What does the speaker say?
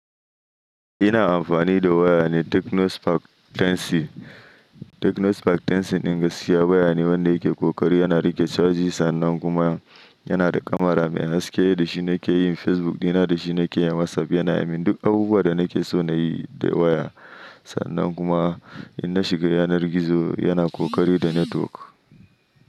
Ina amfani da waya Tecno Spark Tecno Spark 10C ɗin gaskiya waya ne wanda yake ƙoƙari. Yana rike chaji sa annan kuma yana da kamara me haske da shi nike yin Facebook dina dashi nikeyin Whatsapp ya mun duk abubuwan da nike so inyi da waya. Sannan kuma in na shiga yanar gizo yana ƙoƙari da network.